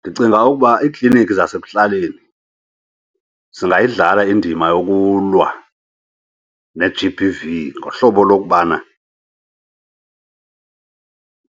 Ndicinga ukuba ikliniki zasekuhlaleni zingayidlala indima yokulwa ne-G _B_ V ngohlobo lokubana